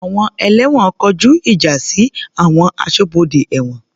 Àwọn ẹlẹ́wọ̀n kọjú ìjà sí àwọn aṣọ́bodè ẹ̀wọ̀n.